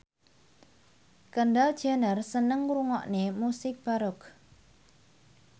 Kendall Jenner seneng ngrungokne musik baroque